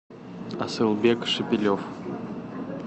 асылбек шепелев